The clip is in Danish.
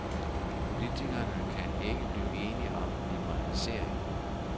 Politikerne kan ikke blive enige om liberalisering.